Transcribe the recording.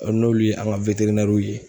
N'olu ye an ka ye.